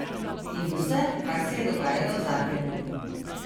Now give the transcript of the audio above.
In vse, kar se je dogajalo v Zagrebu.